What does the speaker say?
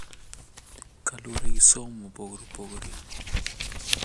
Kaluwore gi somo mopogore opogore,